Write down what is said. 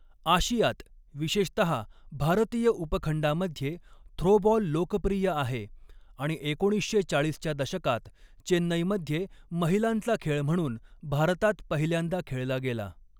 आशियात विशेषताहा भारतीय उपखंडामध्ये थ्रोबॉल लोकप्रिय आहे आणि एकोणीसशे चाळीसच्या दशकात चेन्नईमध्ये महिलांचा खेळ म्हणून भारतात पहिल्यांदा खेळला गेला.